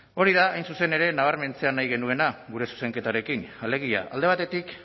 hori da hain zuzen ere nabarmentzea nahi genuena gure zuzenketarekin alegia alde batetik